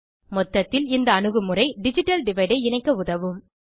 மொத்தத்தில் இந்த அணுகுமுறை டிஜிட்டல் டிவைடு ஐ இணைக்க உதவும்